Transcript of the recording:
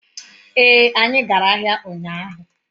ee, anyi gara ahia unyahu